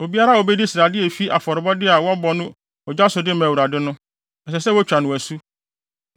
Obiara a obedi srade a efi afɔrebɔde a wɔbɔ no ogya so de ma Awurade no, ɛsɛ sɛ wotwa no asu.